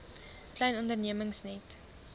klein ondernemings net